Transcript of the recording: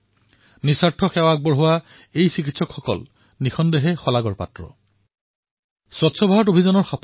ইয়াৰ heart lungs critical চেণ্টাৰৰ পৰা প্ৰতিমাহে এনেকুৱা চিকিৎসা শিবিৰ স্থাপন কৰা হয় যত বিভিন্ন ধৰণৰ ৰোগৰ বিনামূলীয়া পৰীক্ষা তথা উপচাৰ প্ৰদান কৰা হয়